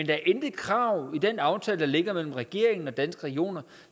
der er intet krav i den aftale der ligger mellem regeringen og danske regioner